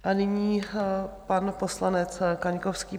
A nyní pan poslanec Kaňkovský.